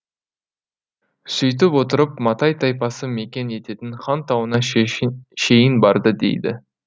сөйтіп отырып матай тайпасы мекен ететін хан тауына шейін барды дейді